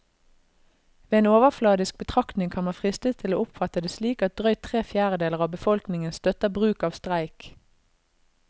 Ved en overfladisk betraktning kan man fristes til å oppfatte det slik at drøyt tre fjerdedeler av befolkningen støtter bruk av streik.